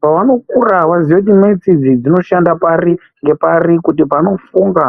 pavanokura vaziye kuti metsi idzi dzinoshane pari ngepari kuti vafunge.